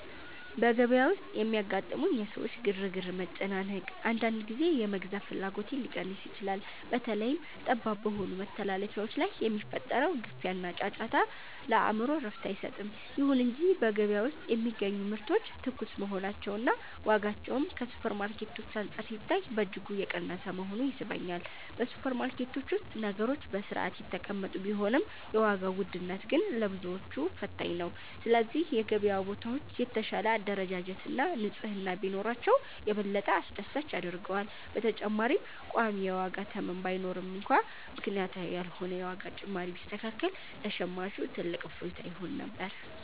በገበያ ውስጥ የሚያጋጥሙኝ የሰዎች ግርግርና መጨናነቅ፣ አንዳንድ ጊዜ የመግዛት ፍላጎቴን ሊቀንስ ይችላል። በተለይም ጠባብ በሆኑ መተላለፊያዎች ላይ የሚፈጠረው ግፊያና ጫጫታ፣ ለአእምሮ እረፍት አይሰጥም። ይሁን እንጂ በገበያ ውስጥ የሚገኙ ምርቶች ትኩስ መሆናቸውና ዋጋቸውም ከሱፐርማርኬቶች አንፃር ሲታይ በእጅጉ የቀነሰ መሆኑ ይስበኛል። በሱፐርማርኬቶች ውስጥ ነገሮች በሥርዓት የተቀመጡ ቢሆንም፣ የዋጋው ውድነት ግን ለብዙዎች ፈታኝ ነው። ስለዚህ የገበያ ቦታዎች የተሻለ አደረጃጀትና ንጽሕና ቢኖራቸው፣ የበለጠ አስደሳች ያደርገዋል። በተጨማሪም ቋሚ የዋጋ ተመን ባይኖርም እንኳን፣ ምክንያታዊ ያልሆነ የዋጋ ጭማሪ ቢስተካከል ለሸማቹ ትልቅ እፎይታ ይሆን ነበር።